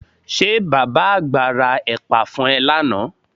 Ṣé bàbá àgbà ra ẹ̀pà fún ẹ lánàá?